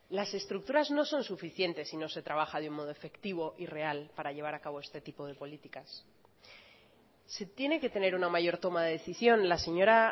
las estructuras no son suficientes si no se trabaja de un modo efectivo y real para llevar a cabo este tipo de políticas se tiene que tener una mayor toma de decisión la señora